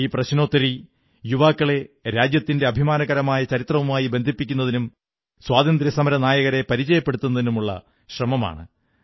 ഈ പ്രശ്നോത്തരി യുവാക്കളെ രാജ്യത്തിന്റെ അഭിമാനകരമായ ചരിത്രവുമായി ബന്ധിപ്പിക്കുന്നതിനും സ്വാതന്ത്ര്യസമരനായകരെ പരിചയപ്പെടുത്തുന്നതിനുമുള്ള ശ്രമമാണ്